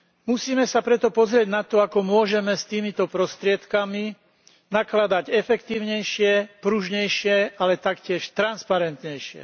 Musíme sa preto pozrieť na to, ako môžeme s týmito prostriedkami nakladať efektívnejšie, pružnejšie, ale taktiež transparentnejšie.